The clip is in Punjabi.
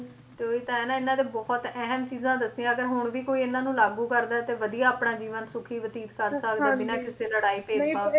ਤੇ ਉਹੀ ਤਾਂ ਹੈ ਨਾ ਇਹਨਾਂ ਦੇ ਬਹੁਤ ਅਹਿਮ ਚੀਜਾਂ ਦੱਸੀਆਂ ਅਗਰ ਹੁਣ ਵੀ ਕੋਈ ਇਹਨਾਂ ਨੂੰ ਲਾਗੂ ਕਰਦਾ ਤੇ ਵਧੀਆ ਆਪਣਾ ਜੀਵਨ ਸੁਖੀ ਬਤੀਤ ਕਰ ਸਕਦਾ ਹਾਂਜੀ ਬਿਨਾਂ ਕਿਸੇ ਲੜਾਈ ਭੇਦਭਾਵ ਤੋਂ